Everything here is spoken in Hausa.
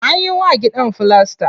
Anyi wa gidan filasta.